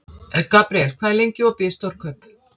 Gabriel, hvað er lengi opið í Stórkaup?